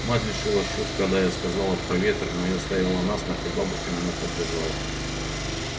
мать лишилась чувств когда я сказала про ветры но я стояла насмерть и бабушка меня поддержала